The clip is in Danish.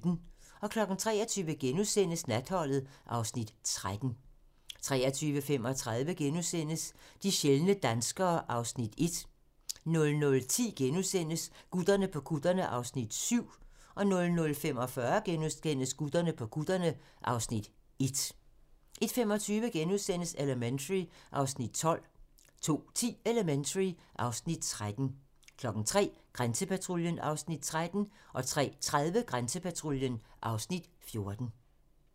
23:00: Natholdet (Afs. 13)* 23:35: De sjældne danskere (Afs. 1)* 00:10: Gutterne på kutterne (Afs. 7)* 00:45: Gutterne på kutterne (Afs. 1)* 01:25: Elementary (Afs. 12)* 02:10: Elementary (Afs. 13) 03:00: Grænsepatruljen (Afs. 13) 03:30: Grænsepatruljen (Afs. 14)